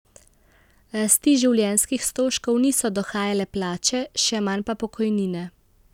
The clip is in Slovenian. Rasti življenjskih stroškov niso dohajale plače, še manj pa pokojnine.